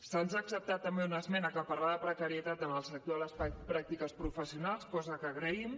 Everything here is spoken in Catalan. se’ns ha acceptat també una esmena que parlava de precarietat en el sector de les pràctiques professionals cosa que agraïm